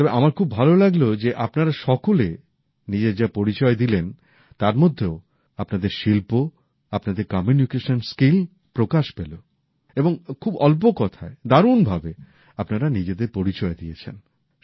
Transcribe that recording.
তবে আমার খুব ভালো লাগলো যে আপনারা সকলে নিজের যা পরিচয় দিলেন তার মধ্যেও আপনাদের শিল্প আপনাদের কম্যুনিকেশন স্কিল প্রকাশ পেল এবং খুব অল্প কথায় দারুণ ভাবে আপনারা নিজেদের পরিচয় দিয়েছেন